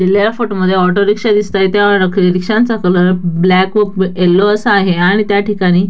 या फोटो मध्ये auto rickshaw दिसताएत त्या रिक्षांचा कलर ब्लॅक व येल्लो असा आहे आणि त्या ठिकाणी--